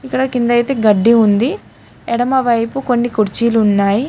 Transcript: ఇక్కడ కింద అయితే గడ్డి ఉంది ఎడమవైపు కొన్ని కుర్చీలు ఉన్నాయి.